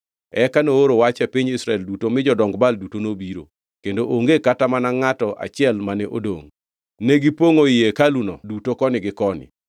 Eka nooro wach e piny Israel duto mi jodong Baal duto nobiro; kendo onge kata mana ngʼato achiel mane odongʼ. Negipongʼo ii hekaluno duto koni gi koni.